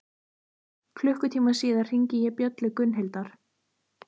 Klukkutíma síðar hringi ég bjöllu Gunnhildar.